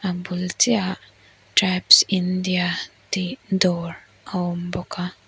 bul chiah ah tribes india tih dawr a awm bawk a.